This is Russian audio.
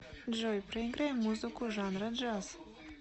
джой проиграй музыку жанра джаз